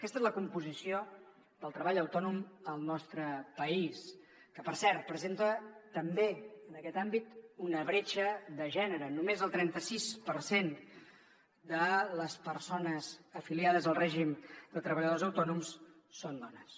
aquesta és la composició del treball autònom al nostre país que per cert presenta també en aquest àmbit una bretxa de gènere només el trenta sis per cent de les persones afiliades al règim de treballadors autònoms són dones